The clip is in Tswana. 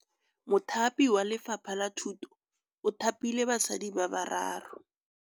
Mothapi wa Lefapha la Thutô o thapile basadi ba ba raro.